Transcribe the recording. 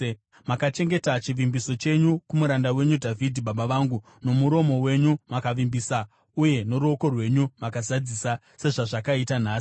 Makachengeta chivimbiso chenyu kumuranda wenyu Dhavhidhi baba vangu; nomuromo wenyu makavimbisa uye noruoko rwenyu makazadzisa sezvazvakaita nhasi.